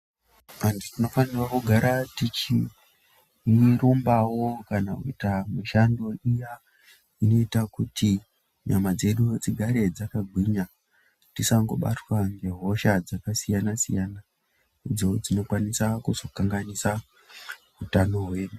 Antu tinofanira kugara tichirumbawo kana kuita mishando iya inoita kuti nyama dzedu dzigare dzakagwinya tisangobatwa ngehosha dzakasiyana siyana idzo dzinokwanisa kuzokanganisa utano hwedu .